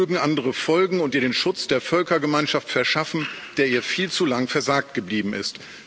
Mögen andere folgen und ihr den Schutz der Völkergemeinschaft verschaffen, der ihr viel zu lang versagt geblieben ist.